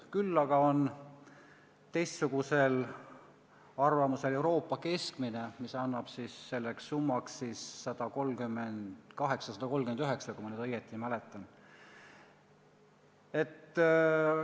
Küll aga ollakse teistsugusel arvamusel Euroopa keskmise arvutamisel: selleks summaks antakse 138–139 eurot, kui ma õigesti mäletan.